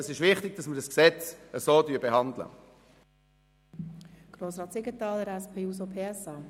Es ist wichtig, dass wir das Gesetz so behandeln, wie es vorliegt.